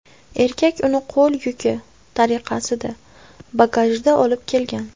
Erkak uni qo‘l yuki tariqasida, bagajida olib kelgan.